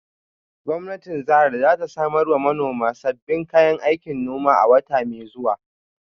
Gwamnatin jihar za ta samar wa manoman sabbin kayan aikin noma a wata mai zuwa.